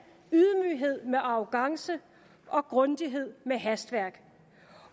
ydmyghed med arrogance og grundighed med hastværk